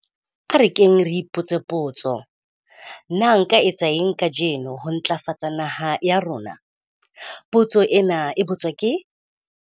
A re keng re ipotse potso - 'Nka etsa eng kajeno ho ntlafatsa naha ya rona?'. Potso ena e ka botswa ke.